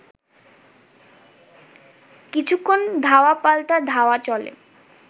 কিছুক্ষণ ধাওয়া পাল্টা ধাওয়া চলে